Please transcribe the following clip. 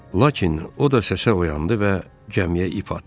Lakin o da səsə oyandı və gəmiyə ip atdı.